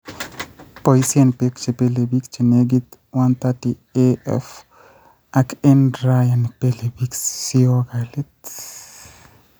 Boisien beek chebelebik (chenekit 130A^f ak eng dryer nebelebik siakolit